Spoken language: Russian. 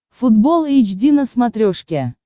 футбол эйч ди на смотрешке